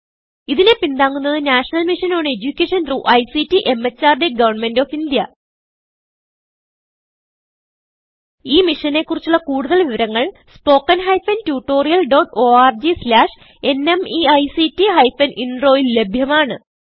ഇതിനെ പിന്താങ്ങുന്നത് national mission on education through ICT MHRD government of India ഈ മിഷനെ കുറിച്ചുള്ള കുടുതൽ വിവരങ്ങൾ spoken hyphen tutorial dot org slash NMEICT hyphen Introൽ ലഭ്യമാണ്